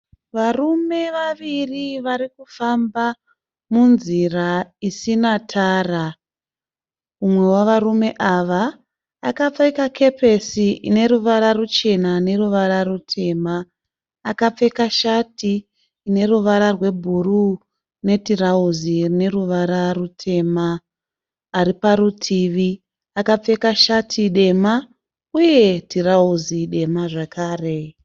Varume vaviri vari kufamba munzira isina tara. Mumwe wevarume ava akapfeka kepesi ine ruvara ruchena neruvara rutema. Akapfeka shati ine ruvara rwebhuru netirauzi rine ruvara rutema. Ari parutivi akapfeka shati dema uye tirauzi dema zvakare.